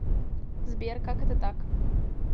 сбер как это так